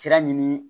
Sira ɲini